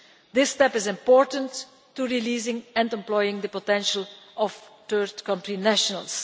This step is important to releasing and employing the potential of third country nationals.